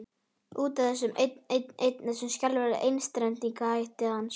Út af þessu einn, einn, einn, þessum skelfilega einstrengingshætti hans.